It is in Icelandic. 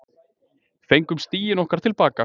Fengum stigin okkar til baka